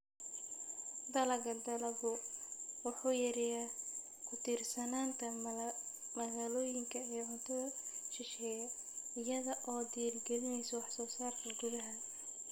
Dalagga dalaggu wuxuu yareeyaa ku tiirsanaanta magaalooyinka ee cuntada shisheeye, iyada oo dhiirigelinaysa wax soo saarka gudaha.